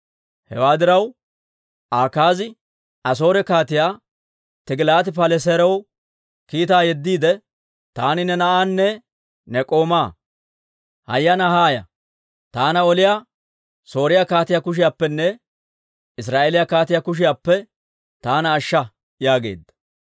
Hewaa diraw, Akaazi Asoore Kaatiyaa Tigilaati-Paleseeraw kiitaa yeddiide, «Taani ne na'aanne ne k'oomaa. Hayyanaa haaya; taana oliyaa Sooriyaa kaatiyaa kushiyaappenne Israa'eeliyaa kaatiyaa kushiyaappe taana ashsha» yaageedda.